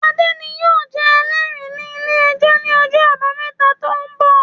Adé ni yóò jẹ Ẹlẹ́rìí ní ilé-ẹjọ̀ ní ọjọ́ àbámẹ́ta tó ń bọ̀